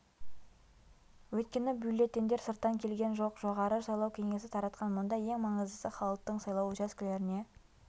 өйткені бюллетендер сырттан келген жоқ жоғары сайлау кеңесі таратқан мұнда ең маңыздысы халықтың сайлау учаскелеріне